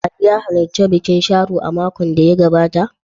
Ali ya halarci bikin Sharo a makon da ya gabata?